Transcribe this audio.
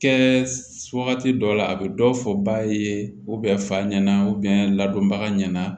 Kɛ wagati dɔw la a bɛ dɔ fɔ ba ye fa ɲɛna ladonbaga ɲɛna